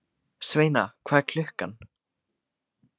Sveina, hvað er klukkan?